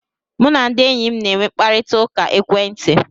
Mụ na ndị enyi m na e nwe mkparịta ụka ekwentị